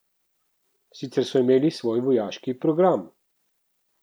Sicer so imeli svoj vojaški program.